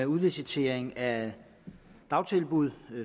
udlicitering af dagtilbud